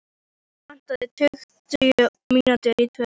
Klukkuna vantaði tuttugu mínútur í tvö.